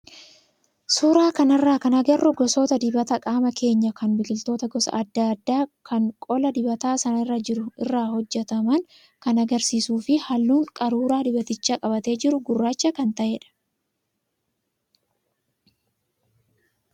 Suuraa kanarraa kan agarru gosa dibata qaama keenyaa kan biqiloota gosa adda addaa kan qola dibata sanarra jiru irraa hojjataman kan agarsiisuu fi halluun qaruuraa dibaticha qabatee jiruu gurraacha kan ta'edha.